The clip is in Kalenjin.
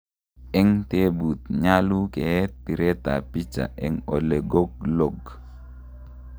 en tebuut, nyalu keet piret ap picha en olegoglog?